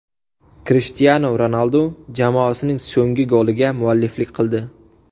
Krishtianu Ronaldu jamoasining so‘nggi goliga mualliflik qildi.